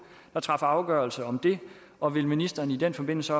der træffer afgørelse om det og vil ministeren i den forbindelse